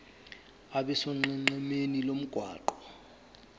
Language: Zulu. abe sonqenqemeni lomgwaqo